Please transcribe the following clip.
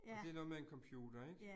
Og det noget med en computer ik?